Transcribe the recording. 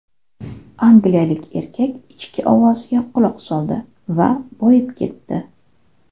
Angliyalik erkak ichki ovoziga quloq soldi va boyib ketdi.